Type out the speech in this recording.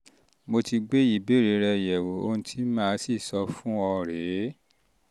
um mo ti gbé ìbéèrè rẹ yẹ̀wò ohun tí màá sì um sọ fún ọ rèé rèé